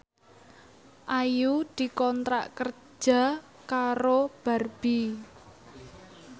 Ayu dikontrak kerja karo Barbie